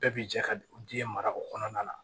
Bɛɛ bi jɛ ka den mara o kɔnɔna na